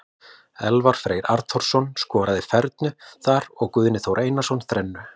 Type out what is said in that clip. Elvar Freyr Arnþórsson skoraði fernu þar og Guðni Þór Einarsson þrennu.